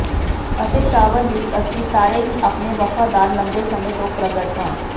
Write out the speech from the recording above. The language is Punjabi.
ਅਤੇ ਸ਼ਾਵਰ ਵਿਚ ਅਸੀਂ ਸਾਰੇ ਹੀ ਆਪਣੇ ਵਫ਼ਾਦਾਰ ਲੰਬੇ ਸਮੇਂ ਤੋਂ ਪ੍ਰਗਟ ਹਾਂ